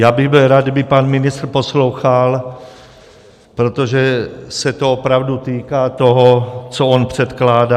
Byl bych rád, kdyby pan ministr poslouchal, protože se to opravdu týká toho, co on předkládá.